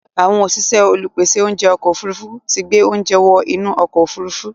Àwọn òṣìṣẹ́ olùpèsè oúnjẹ ọkọ̀ òfurufú tí gbé oúnjẹ wọ inú ọkọ̀ òfurufú.